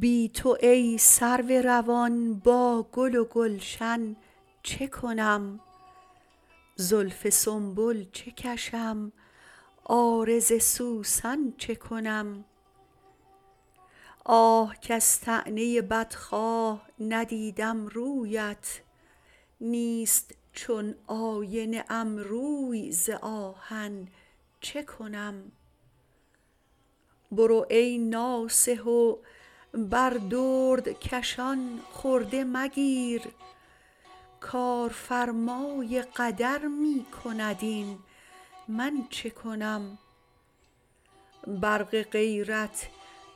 بی تو ای سرو روان با گل و گلشن چه کنم زلف سنبل چه کشم عارض سوسن چه کنم آه کز طعنه بدخواه ندیدم رویت نیست چون آینه ام روی ز آهن چه کنم برو ای ناصح و بر دردکشان خرده مگیر کارفرمای قدر می کند این من چه کنم برق غیرت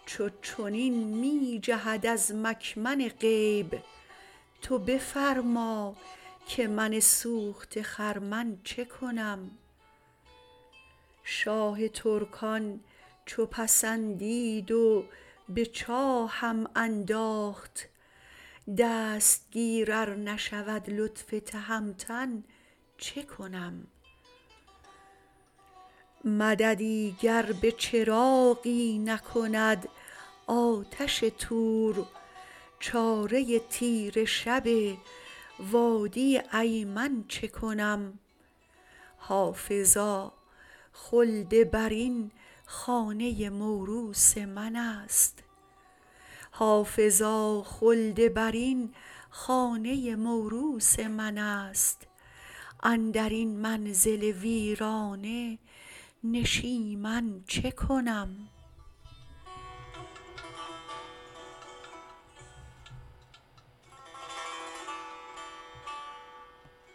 چو چنین می جهد از مکمن غیب تو بفرما که من سوخته خرمن چه کنم شاه ترکان چو پسندید و به چاهم انداخت دستگیر ار نشود لطف تهمتن چه کنم مددی گر به چراغی نکند آتش طور چاره تیره شب وادی ایمن چه کنم حافظا خلدبرین خانه موروث من است اندر این منزل ویرانه نشیمن چه کنم